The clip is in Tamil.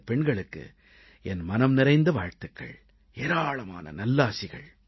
இந்தப் பெண்களுக்கு என் மனம் நிறைந்த வாழ்த்துகள் ஏராளமான நல்லாசிகள்